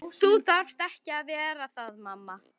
Þú þarft ekki að vera það mamma.